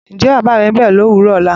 Ǹjẹ́ bàbá rẹ ńbọ̀ lówùrọ ọ̀la?